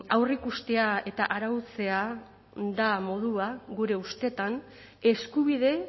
aurreikustea eta arautzea da modua gure ustetan eskubide